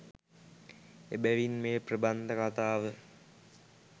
එබැවින් මෙය ප්‍රබන්ධ කතාව